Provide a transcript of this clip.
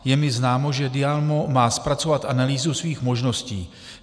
Je mi známo, že DIAMO má zpracovat analýzu svých možností.